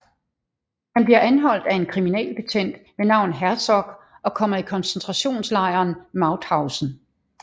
Han bliver anholdt af en kriminalbetjent ved navn Herzog og kommer i koncentrationslejren Mauthausen